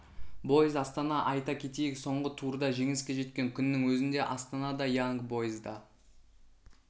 бойз астана айта кетейік соңғы турда жеңіске жеткен күннің өзінде астана да янг бойз да